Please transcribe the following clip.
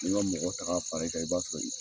N'i ma mɔgɔ ta ka fara i kan i b'a sɔrɔ i